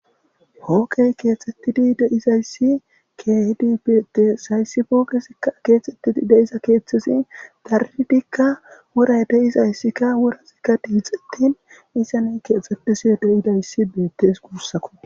hooqey keexxettidi deizayssi keehidi beette sayssi fookesikka keexxettidi deiza keeththisi daridikka woray deizayssikka worasikka diixettin isane keexxettisi de7idayssi beettes guussako